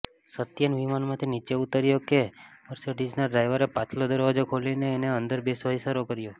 સત્યેન વિમાનમાંથી નીચે ઊતર્યો કે મસિર્ડીઝના ડ્રાઇવરે પાછલો દરવાજો ખોલીને એને અંદર બેસવા ઇશારો કર્યો